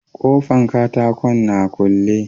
Kofan katakon na a kule.